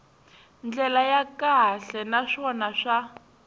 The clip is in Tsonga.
ndlela ya kahle naswona swa